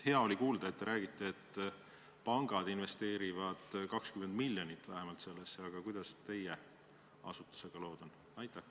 Hea oli kuulda, et pangad investeerivad vähemalt 20 miljonit sellesse, aga kuidas teie asutusega lood on?